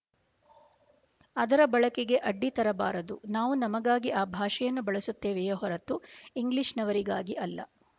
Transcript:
ಅದರ ಬಳಕೆಗೆ ಅಡ್ಡಿತರಬಾರದು ನಾವು ನಮಗಾಗಿ ಆ ಭಾಷೆಯನ್ನು ಬಳಸುತ್ತೇವೆಯೇ ಹೊರತು ಇಂಗ್ಲಿಶಿನವರಿಗಾಗಿ ಅಲ್ಲ